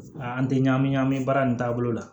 An tɛ ɲami ɲami baara nin taabolo la